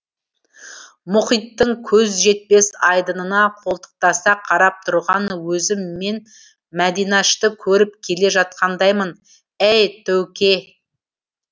мұхиттың көз жетпес айдынына қолтықтаса қарап тұрған өзім мен мәдинашты көріп келе жатқандаймын әй төуке